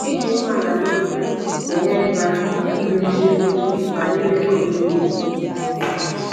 Ịdị umeala n’obi ga-enyere gị aka ịbụ eziokwu banyere ọdịdị gị.